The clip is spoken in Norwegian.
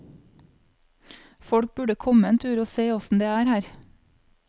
Folk burde komme en tur og se åssen det er her.